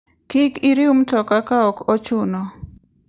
Kik iriw mtoka ka ok ochuno.